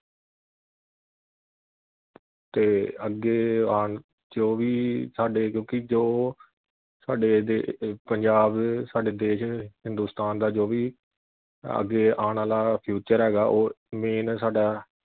ਤੇ ਅੱਗੇ ਆਣ ਜੋ ਵੀ ਸਾਡੇ ਕਿਉਂਕਿ ਜੋ ਸਾਡੇ ਪੰਜਾਬ ਸਾਡੇ ਦੇਸ਼ ਹਿੰਦੁਸਤਾਨ ਦਾ ਜੋ ਵੀ ਅੱਗੇ ਆਣ ਵਾਲਾ future ਹੈਗਾ ਉਹ main ਸਾਡਾ